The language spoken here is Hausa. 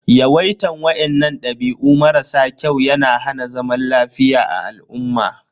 Yawaitan wainnan dabi'u mara sa kyau ya na hana zaman lafiya a al'umma.